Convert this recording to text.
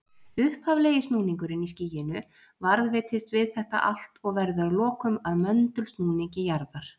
Upphaflegi snúningurinn í skýinu varðveitist við þetta allt og verður að lokum að möndulsnúningi jarðarinnar.